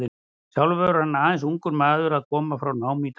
Sjálfur var hann aðeins ungur maður að koma frá námi í Danmörku.